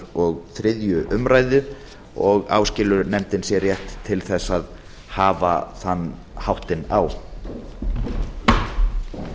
og þriðju umræðu og áskilur nefndin sér rétt til að hafa þann háttinn á